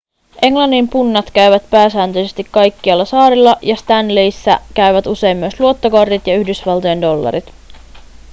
englannin punnat käyvät pääsääntöisesti kaikkialla saarilla ja stanleyssa käyvät usein myös luottokortit ja yhdysvaltojen dollarit